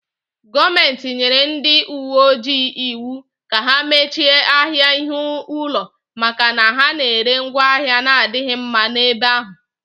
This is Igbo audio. Gọọmenti nyere ndị uwe ojii iwu ka ha mechie ahịa ihe ụlọ maka na ha na-ere ngwaahịa na-adịghị mma n'ebe ahụ